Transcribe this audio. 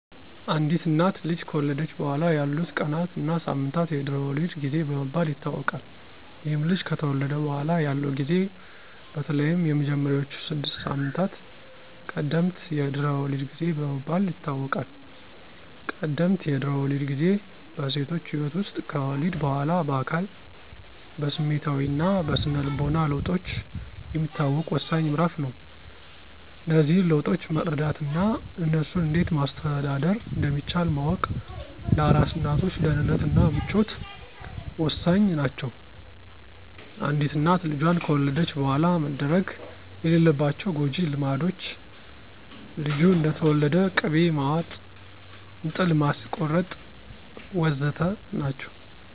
አንዲት እናት ልጅ ከወለደች በኋላ ያሉት ቀናት እና ሳምንታት የድህረ ወሊድ ጊዜ በመባል ይታወቃል። ይህም ልጅ ከተወለደ በኋላ ያለው ጊዜ በተለይም የመጀመሪያዎቹ ስድስት ሳምንታት ቀደምት የድህረ ወሊድ ጊዜ በመባል ይታወቃል። ቀደምት የድህረ ወሊድ ጊዜ በሴቶች ህይወት ውስጥ ከወሊድ በኋላ በአካል፣ በስሜታዊ እና በስነ ልቦና ለውጦች የሚታወቅ ወሳኝ ምዕራፍ ነው። እነዚህን ለውጦች መረዳት እና እነሱን እንዴት ማስተዳደር እንደሚቻል ማወቅ ለአራስ እናቶች ደህንነት እና ምቾት ወሳኝ ናቸው። አንዲት እናት ልጇን ከወለደች በኋላ መደረግ የሌለባቸው ጎጅ ልማዶች፣ ልጁ እንደተወለደ ቅቤ ማዋጥ፣ እንጥል ማስቆረጥ... ወ.ዘ.ተ. ናቸው።